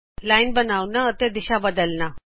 line ਬਨਾਓਣਾ ਅਤੇ ਦਿਸ਼ਾ ਬਦਲਨਾ